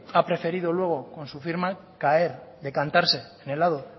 ha preferido luego con su firma caer decantarse en el lado